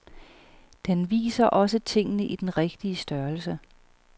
Den viser også tingene i den rigtige størrelse.